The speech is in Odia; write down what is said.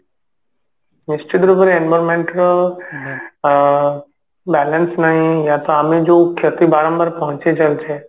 ନିଶ୍ଚିତ ରୂପରେ environment ର ଆ balance ନାହିଁ ୟା ତ ଆମେ ଯଉ କ୍ଷତି ବାରମ୍ବାର ପହଞ୍ଚେଇ ଚାଲିଛେ